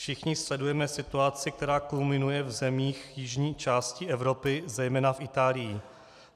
Všichni sledujeme situaci, která kulminuje v zemích jižní části Evropy, zejména v Itálii.